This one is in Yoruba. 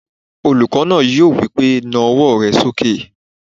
Olùkọ́ náà yóò wí pé "na ọwọ́ rẹ sókè!"